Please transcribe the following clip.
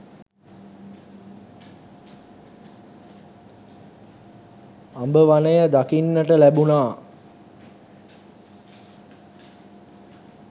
අඹ වනය දකින්නට ලැබුණා.